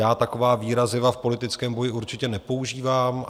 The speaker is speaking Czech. Já taková výraziva v politickém boji určitě nepoužívám.